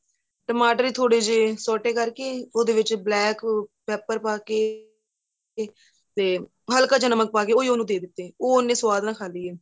ਟਮਾਟਰ ਥੋੜੇ ਜ਼ੇ ਛੋਟੇ ਕਰਕੇ ਉਹਦੇ ਵਿੱਚ black weeper ਪਾਕੇ ਕੇ ਤੇ ਹੱਲਕਾ ਜਾਂ ਨਮਕ ਪਾਕੇ ਉਹੀ ਉਹਨੂੰ ਦੇ ਦਿੱਤੇ ਉਹ ਉੰਨੇ ਸੁਆਦ ਨਾਲ ਖਾਂਦੀ ਏ